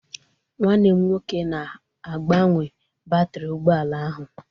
Nwanne m nwoke na-agbanwe batrị ụgbọ ala ahụ